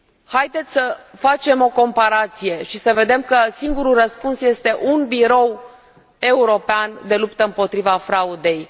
Haideți să facem o comparație și să vedem că singurul răspuns este un birou european de luptă împotriva fraudei.